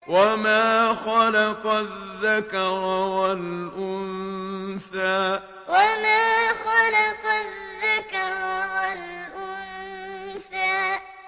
وَمَا خَلَقَ الذَّكَرَ وَالْأُنثَىٰ وَمَا خَلَقَ الذَّكَرَ وَالْأُنثَىٰ